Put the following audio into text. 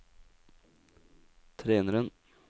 treneren